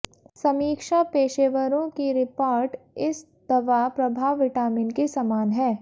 समीक्षा पेशेवरों की रिपोर्ट इस दवा प्रभाव विटामिन के समान है